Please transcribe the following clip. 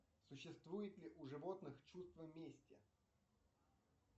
существует ли у животных чувство мести